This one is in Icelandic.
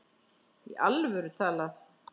Í alvöru talað.